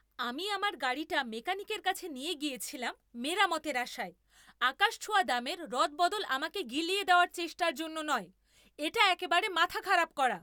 আমি আমার গাড়িটা মেকানিকের কাছে নিয়ে গিয়েছিলাম মেরামতের আশায়, আকাশছোঁয়া দামের রদবদল আমাকে গিলিয়ে দেওয়ার চেষ্টার জন্য নয়। এটা একেবারে মাথা খারাপ করা।